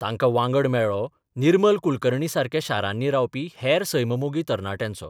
तांकां वांगड मेळ्ळो निर्मल कुलकर्णीसारक्या शारांनी रावपी हेर सैममोगी तरणाट्यांचो.